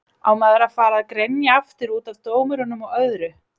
Á maður að fara að grenja aftur útaf dómurum og öðru?